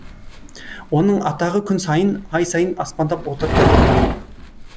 оның атағы күн сайын ай сайын аспандап отырды